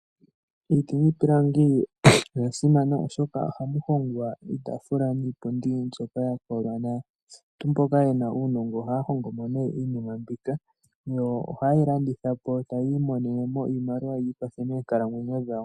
Iiti niipilangi oya simana oshoka oha mu hongwa iitaafula niipundi mbyoka yakola nawa. Aantu mboka ye na uunongo oha ya hongomo nee iinima mbika, yo oha ye yi landitha po ta yi imonene mo iimaliwa yiikwathe moonkalamwenyo dhawo.